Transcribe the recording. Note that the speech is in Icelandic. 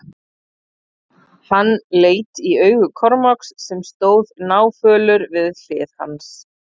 Hann leit í augu Kormáks sem stóð náfölur við hlið hans.